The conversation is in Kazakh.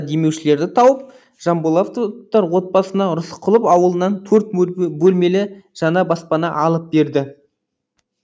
демеушілерді тауып жанболатовтар отбасына рысқұлов ауылынан төрт бөлмелі жаңа баспана алып берді